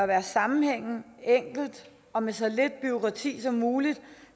være sammenhængende enkel og med så lidt bureaukrati som muligt